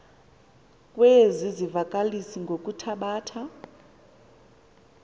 kwezi zivakalisi ngokuthabatha